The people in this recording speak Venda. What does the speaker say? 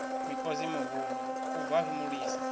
mikosi mihulu u bvafhi mulisa